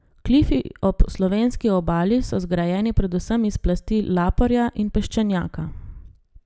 Klifi ob slovenski obali so zgrajeni predvsem iz plasti laporja in peščenjaka.